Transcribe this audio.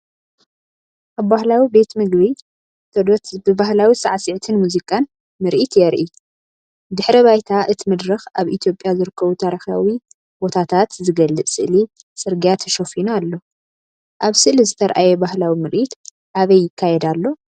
ኣብ ባህላዊ ቤት መግቢ ተዶት ብባህላዊ ሳዕስዒትን ሙዚቃን ምርኢት የርኢ። ድሕረ ባይታ እቲ መድረኽ ኣብ ኢትዮጵያ ዝርከቡ ታሪኻዊ ቦታታት ዝገልጽ ስእሊ ጽርግያ ተሸፊኑ ኣሎ። ኣብ ስእሊ ዝተርኣየ ባህላዊ ምርኢት ኣበይ ይካየድ ኣሎ?